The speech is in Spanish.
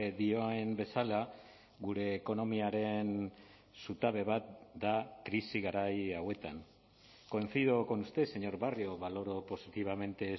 dioen bezala gure ekonomiaren zutabe bat da krisi garai hauetan coincido con usted señor barrio valoro positivamente